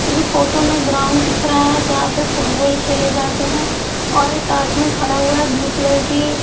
मुझे फोटो में ग्राउंड दिख रहा है जहाँ पे फुटबॉल खेले जाते हैं और एक खड़ा हुआ है ब्लू कलर की --